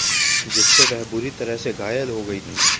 जिससे वह बुरी तरह से घायल हो गई थी